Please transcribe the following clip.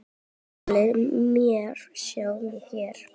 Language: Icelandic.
Ummælin má sjá hér.